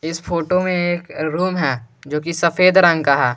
इस फोटो में एक रूम है जो की सफेद रंग का है।